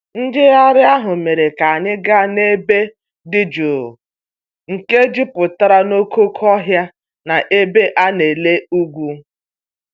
Njegharị ahụ mere ka anyị gaa n'ebe dị jụụ nke jupụtara n'okooko ohịa na ebe a na-ele ugwu.